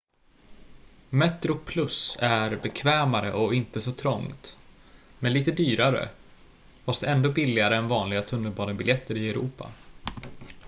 metroplus är bekvämare och inte så trångt men lite dyrare fast ändå billigare än vanliga tunnelbanebiljetter i europa